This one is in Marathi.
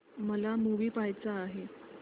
मला मूवी पहायचा आहे